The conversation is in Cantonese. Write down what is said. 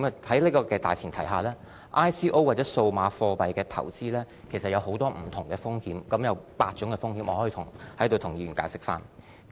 在這種大前提下 ，ICO 或數碼貨幣的投資其實有很多不同的風險，當中包括8種風險，我可以在此向議員解釋。